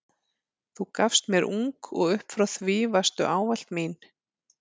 Þú gafst mér ung og upp frá því varstu ávallt mín.